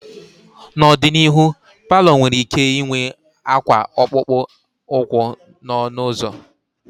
N'ọdịnihu, palọ nwere ike ịnwe akwa akpụkpọ ụkwụ n'ọnụ ụzọ.